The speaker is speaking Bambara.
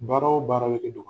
Baara o baara be de